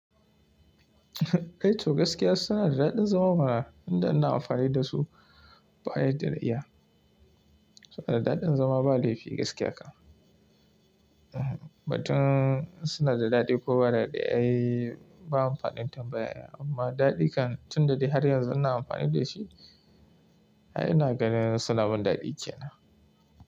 Eh to gaskiya suna da daɗin zama mana, tunda ina amfani da su ba' yadda na iya. Suna da daɗin zama ba laifi gaskiya kan. Batun suna da daɗi ko ba daɗi ai ba amfanin tambaya amma daɗi kan tun da dai har yanzu ina amfani da shi. Ai ina ganin suna min daɗi kenan.